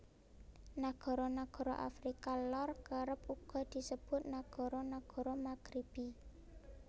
Nagara nagara Afrika Lor kerep uga disebut nagara nagara Maghribi